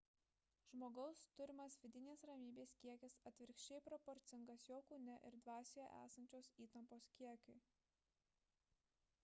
žmogaus turimas vidinės ramybės kiekis atvirkščiai proporcingas jo kūne ir dvasioje esančios įtampos kiekiui